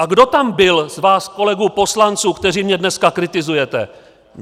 A kdo tam byl z vás kolegů poslanců, kteří mě dneska kritizujete?